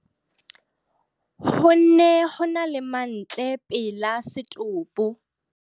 Ho ne ho na le mantle pela setopo.